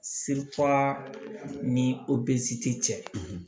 ni tɛ cɛ